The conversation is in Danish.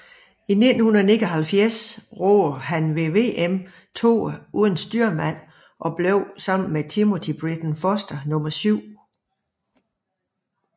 I 1979 roede han ved VM toer uden styrmand og blev sammen med Timothy Britton Foster nummer syv